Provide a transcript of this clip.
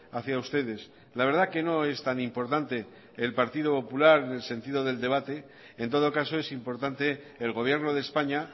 hacia ustedes la verdad que no es tan importante el partido popular en el sentido del debate en todo caso es importante el gobierno de españa